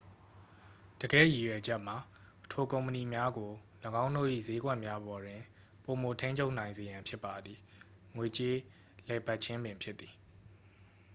တကယ့်ရည်ရွယ်ချက်မှာ ထိုကုမ္ပဏီများကို ၎င်းတို့၏စျေးကွက်များပေါ်တွင် ပိုမိုထိန်းချုပ်နိုင်စေရန်ဖြစ်ပါသည် ငွေကြေးလည်ပတ်ခြင်းပင်ဖြစ်သည်